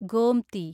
Gomti